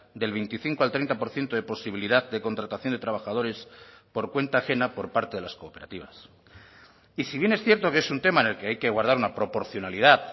del veinticinco al treinta por ciento de posibilidad de contratación de trabajadores por cuenta ajena por parte de las cooperativas y si bien es cierto que es un tema en el que hay que guardar una proporcionalidad